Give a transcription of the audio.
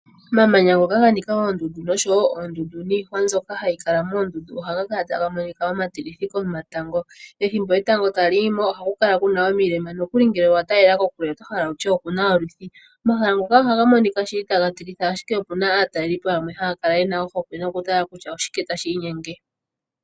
Omamanya ngoka ga nika oondundu noshowo oondundu niihwa mbyoka hayi kala moondundu ohaga kala taga monika omatilithi komatango. Pethimbo etango tali yi mo ohaku kala kuna omilema. Nokuli ngele owa talela kokule oto hala wutye okuna olwithi. Omahala ngoka ohaga monika shili taga tilitha ashike opuna aatalelipo yamwe haya kala yena ohokwe nokutala kutya oshike tashi inyenge.